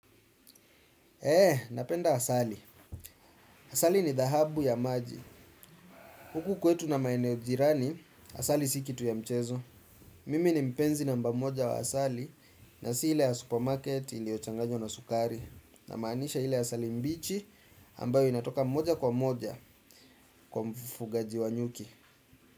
Eh, napenda asali. Asali ni dhahabu ya maji. Huku kwetu na maeneo jirani, asali si kitu ya mchezo. Mimi ni mpenzi namba moja wa asali na si ile ya supermarket ilioyochanganywa na sukari. Namaanisha ile asali mbichi ambayo inatoka moja kwa moja kwa mfugaji wa nyuki.